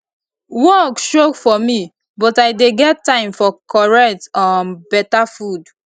work choke for me but i dey get time for correct um beta food